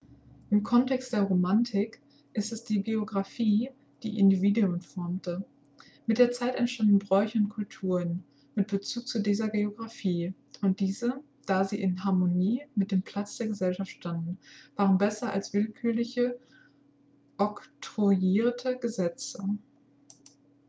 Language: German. im kontext der romantik ist es die geographie die individuen formte mit der zeit entstanden bräuche und kulturen mit bezug zu dieser geographie und diese da sie in harmonie mit dem platz der gesellschaft standen waren besser als willkürlich oktroyierte gesetze